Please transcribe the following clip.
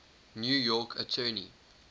new york attorney